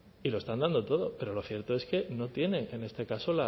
y lo están dando todo pero lo cierto es que no tienen en este caso